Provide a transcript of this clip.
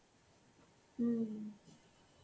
হম